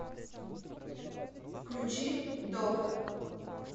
включи доп